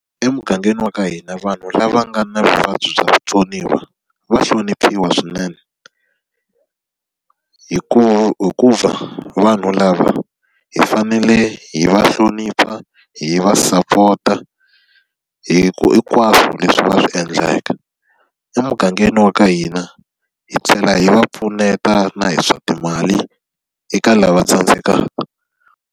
Emugangeni wa ka hina vanhu lava nga na vuvabyi bya vutsoniwa va hloniphiwa swinene. hikuva vanhu lava hi fanele hi va hlonipha, hi va sapota, hinkwaswo leswi va swi endlaka. Emugangeni wa ka hina, hi tlhela hi va pfuneta na hi swa timali eka lava tsandzekaka.